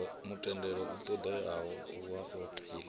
mutendelo u ṱoḓeaho wa aphili